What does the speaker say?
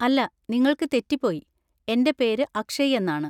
അല്ല, നിങ്ങള്‍ക്ക് തെറ്റിപ്പോയി, എന്‍റെ പേര് അക്ഷയ് എന്നാണ്.